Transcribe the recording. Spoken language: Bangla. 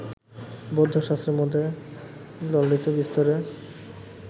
বৌদ্ধশাস্ত্রের মধ্যে ললিতবিস্তরে